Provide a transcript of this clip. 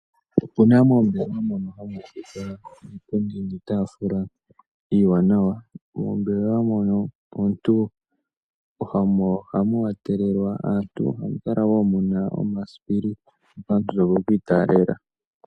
Opuna moombelewa mono hamu adhika iipundi niitafula iiwanawa. Moombelewa mono ohamu wa telelwa aantu ohamu kala wo muna omasipili omuntu to vulu oku italela.